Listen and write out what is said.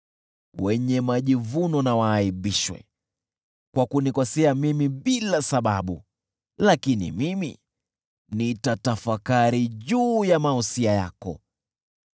Wenye majivuno na waaibishwe kwa kunikosea mimi bila sababu, lakini mimi nitatafakari juu ya mausia yako.